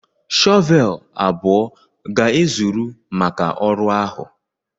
shọvel abụọ ga-ezuru maka ọrụ ahụ.